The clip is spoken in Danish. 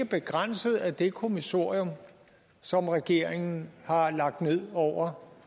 begrænset af det kommissorium som regeringen har lagt ned over